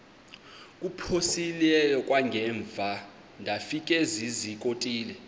kuphosiliso kwangaemva ndafikezizikotile